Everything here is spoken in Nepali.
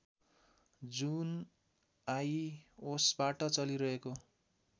जुन आइओसबाट चलिरहेको